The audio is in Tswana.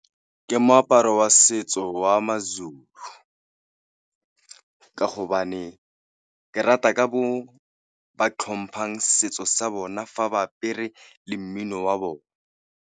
Ke moaparo wa setso wa ma-Zulu ka hobane, ke rata ka mo ba tlhompang setso sa bona fa ba apere le mmino wa bone.